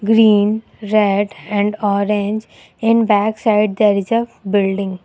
green red and orange in back side there is a building.